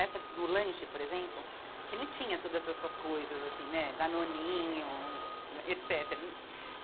Essa do lanche, por exemplo, que não tinha todas essas coisas, assim, né, Danoninho, etc.